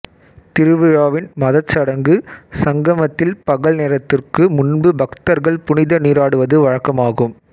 திருவிழாவின் மதச் சடங்கு சங்கமத்தில் பகல் நேரத்திற்கு முன்பு பக்தர்கள் புனித நீராடுவது வழக்கமாகும்